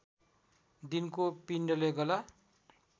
दिनको पिण्डले गला